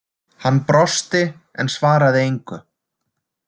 Hann brosti en svaraði engu.